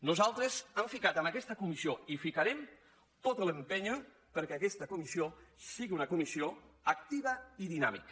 nosaltres hem ficat en aquesta comissió i hi ficarem tot l’què aquesta comissió sigui una comissió activa i dinàmica